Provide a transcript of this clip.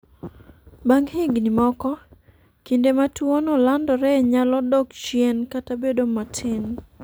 Bang ' higini moko, kinde ma tuwono landoree nyalo dok chien kata bedo matin.